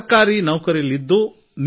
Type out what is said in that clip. ಸರ್ಕಾರಿ ನೌಕರಿಯಲ್ಲಿದ್ದರು